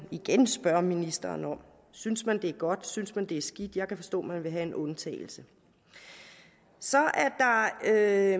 igen spørge ministeren om synes man det er godt synes man det er skidt jeg kan forstå at man vil have en undtagelse så er